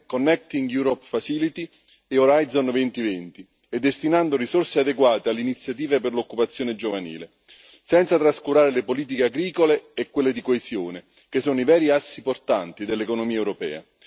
Connecting Europe Facility e Horizon 2020 e destinando risorse adeguate alle iniziative per l'occupazione giovanile, senza trascurare le politiche agricole e quelle di coesione, che sono i veri assi portanti dell'economia europea.